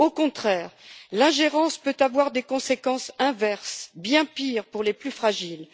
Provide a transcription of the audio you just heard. Au contraire, l'ingérence peut avoir des conséquences inverses, bien pires pour les plus fragiles.